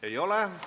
Ei ole.